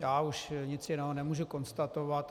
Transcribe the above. Já už nic jiného nemůžu konstatovat.